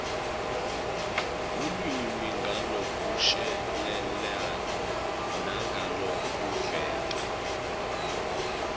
lulwimi ngalokushelelako nangalokuveta